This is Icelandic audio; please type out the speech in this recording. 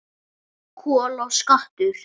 Kol og skattur